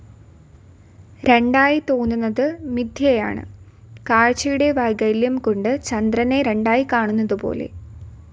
രണ്ടായി തോന്നുന്നത് മിഥ്യയാണ്, കാഴ്ചയുടെ വൈകല്യം കൊണ്ട് ചന്ദ്രനെ രണ്ടായി കാണുന്നതു പോലെ.